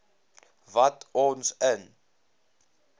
wat ons in